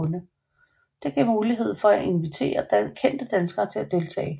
Det gav mulighed for at invitere kendte danskere til at deltage